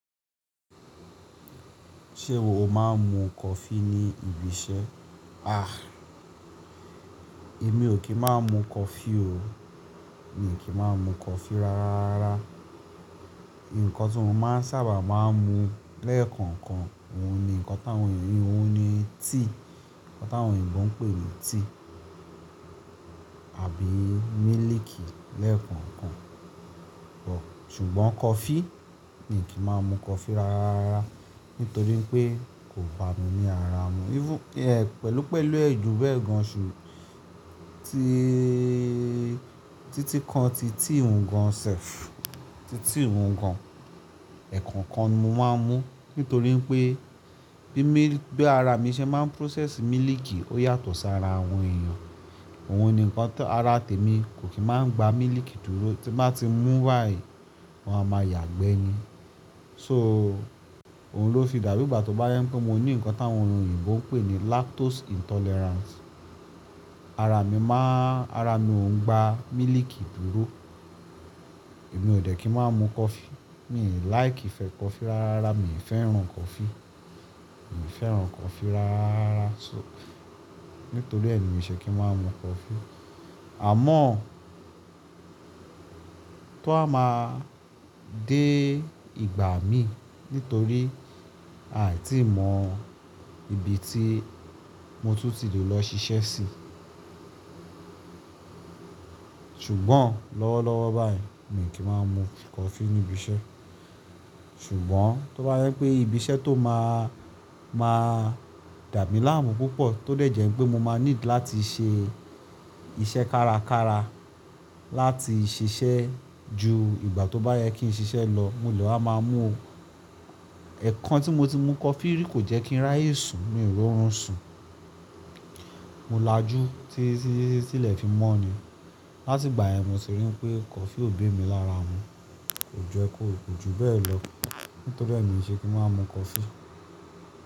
Ṣé o máa ń mu coffee ní ibi iṣẹ́? Ah! Èmi ò kí ń má mu coffee o. Mi ò kí ń má mu coffee rárá. Ǹkan tí mo máa ń sábà máa ń mu lẹ́ẹ̀kọ̀kan, òun ni ǹkan táwọn ènìyàn, òun ni tíì, ǹkan táwọn òyìnbó ń pè ní tíì àbí mílìkì lẹ́ẹ̀kọ̀kan. Ṣùgbọ́n coffee, mi ò kí má mu coffee rárá nítorí pé kò bá mi ní ara mu. Even pẹ̀lú pẹ̀lú èjò bẹ́ẹ̀ gan ṣe tí-títí kan ti tíì hun gan sẹ̀f, ti tíì hun gan, ẹ̀ẹ̀kọ̀kan mo máa ń mu nítorí pé bí míl-- bí ara mi ṣe máa ń process mílìkì ó yàtọ̀ sí ara àwọn èèyàn. Òun ni ǹkan tó ara tèmi kò kí máa gba mílìkì dúró. Tí bá ti mú báyìí, mo á máa yàgbẹ́ ni. So òun ló fi dàbí ìgbà tó bá yẹ pé mo ní ǹkan táwọn òyìnbó ń pè ní lactose intolerance. Ara mi máa-- ara mi ò ń gba mílìkì dúró. Èmi ò dẹ̀ kí ń má mu coffee. Mi ò like fẹ coffee rárá. Mi ò fẹ́ràn coffee. Mi ò fẹ́ràn coffee rárá so nítorí èmi ò ṣe kí ń má mu coffee. Àmọ́ tó ha máa dé ìgbà mi nítorí aà tí mò mọ ibi tí mo tún ti lè lọ ṣiṣẹ́ sí. Ṣùgbọ́n lọ́wọ́lọ́wọ́ báyìí mi ò kí má mu coffee níbi iṣẹ́. Ṣùgbọ́n tó bá yẹ pé ibi iṣẹ́ tó máa, máa dà mí láàmú púpọ̀ tó dẹ̀ jẹ́ pé mo máa need láti ṣe iṣẹ́ kárakára láti ṣiṣẹ́ ju ìgbà tó bá yẹ kí n ṣiṣẹ́ lọ mo lè máa mú o. Ẹ̀ẹ̀kan tí mo ti mu coffee rí kò jẹ́ kí n ráyè sùn, mi ò rún sùn. Mo lajú tí, tílẹ̀ fi mọ́ ni. Láti ìgbà ẹni mo ṣe rí pé coffee ò bé mi lára mu. Kò jẹ́ kó ju bẹ́ẹ̀ lọ. Nítorí èmi ò ṣe kí ń má mu coffee.